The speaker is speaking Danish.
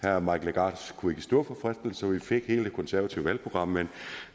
herre mike legarth kunne ikke stå for fristelsen og vi fik hele det konservative valgprogram men